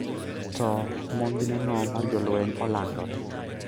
To monjneno mar jolweny olandore.